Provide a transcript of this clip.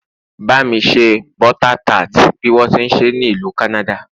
ba mi se butter tart bi wọn ti nse ni ìlú canada